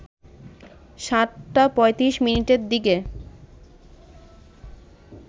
৭টা ৩৫ মিনিটের দিকে